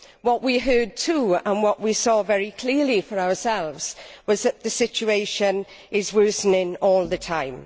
What we heard too, and what we saw very clearly for ourselves, was that the situation is worsening all the time.